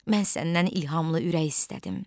Mən səndən ilhamlı ürək istədim.